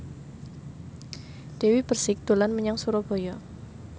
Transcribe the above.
Dewi Persik dolan menyang Surabaya